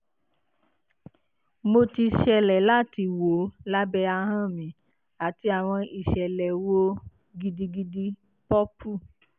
mo ti ṣẹlẹ lati wo labẹ ahọn mi ati awọn isẹlẹ wo gidigidi purple